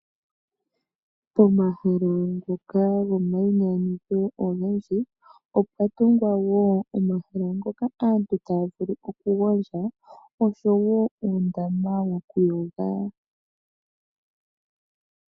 Pomahala ngoka gomayinyanyudho ogendji opwa tungwa wo omahala ngoka aantu taya vulu okugondja nosho wo uundama wokuyoga.